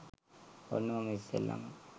ඔන්න මම ඉස්සෙල්ලම